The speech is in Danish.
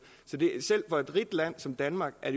så selv for et rigt land som danmark er